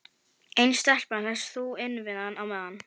En stelpan hélst þó innivið á meðan.